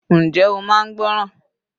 Njẹ́ ó máa ń gbọ́ràn.